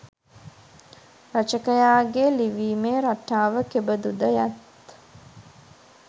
රචකයාගේ ලිවීමේ රටාව කෙබඳුද යත්